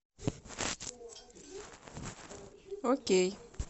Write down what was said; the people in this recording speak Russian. окей